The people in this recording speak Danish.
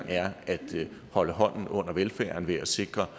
er at holde hånden under velfærden ved at sikre